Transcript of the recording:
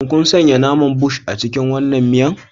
Shin kun sanya naman Bush a cikin wannan miya?